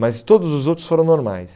Mas todos os outros foram normais.